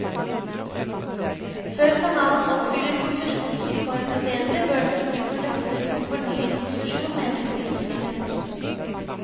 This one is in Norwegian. Før kanalen oppfyller konsesjonsvilkårene bedre, bør den ikke få løfter om fornyet konsesjon, mener politikere.